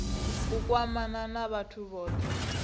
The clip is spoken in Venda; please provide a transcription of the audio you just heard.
u kwamana na vhathu vhothe